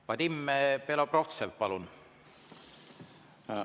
Vadim Belobrovtsev, palun!